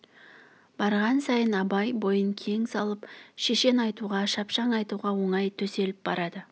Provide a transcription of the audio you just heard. барған сайын абай бойын кең салып шешен айтуға шапшаң айтуға оңай төселіп барады